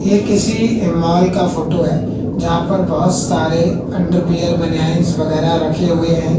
ये किसी मॉल का फोटो है जहां पर बोहोत सारे अंडरवियर बनियांस वगैरह रखे हुए हैं।